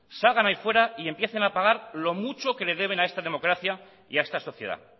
salgan ahí fuera y empiecen a pagar lo mucho que le deben a esta democracia y a esta sociedad